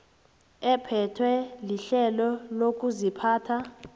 ephethwe lirhelo lokuziphatha